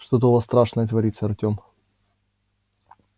что-то у вас страшное творится артём